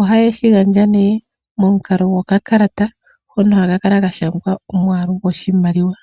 Ohaye shi gandja nee momukalo gokakalata. Hono haka kala ka shangwa omwaalu goshimaliwa.